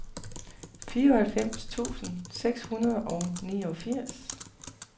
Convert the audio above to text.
fireoghalvfems tusind seks hundrede og niogfirs